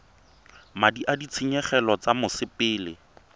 madi a ditshenyegelo tsa mosepele